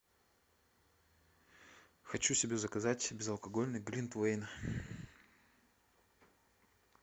хочу себе заказать безалкогольный глинтвейн